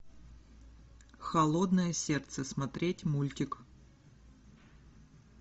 холодное сердце смотреть мультик